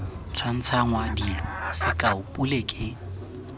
tshwantshangwa dilo sekao pule ke